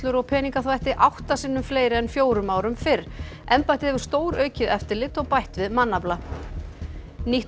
og peningaþvætti átta sinnum fleiri en fjórum árum fyrr embættið hefur stóraukið eftirlit og bætt við mannafla nýtt